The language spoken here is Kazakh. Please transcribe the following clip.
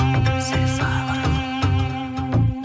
сәл сабыр